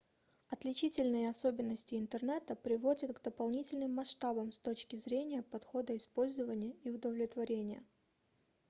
отличительные особенности интернета приводят к дополнительным масштабам с точки зрения подхода использования и удовлетворения